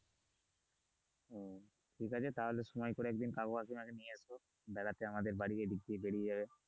ঠিক আছে তাহলে সময় করে একদিন কাকু কাকিমা কে নিয়ে এসো বেড়াতে আমার বাড়ি এদিকে বেরিয়ে যাবে।